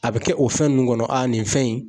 A bɛ kɛ o fɛn ninnu kɔnɔ a nin fɛn in